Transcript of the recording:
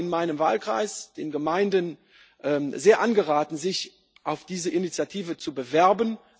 Ich habe in meinem Wahlkreis den Gemeinden sehr angeraten, sich für diese Initiative zu bewerben.